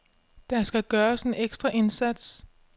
Der skal gøres en ekstra indsats.